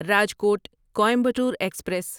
Rajkot Coimbatore express